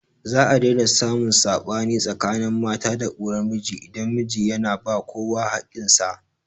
Za a daina samun saɓani tsakanin mata da uwar miji idan miji yana ba kowa haƙƙin sa